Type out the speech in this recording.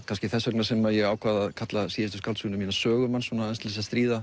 kannski þess vegna sem ég ákvað að kalla síðustu skáldsöguna mína sögumann aðeins til að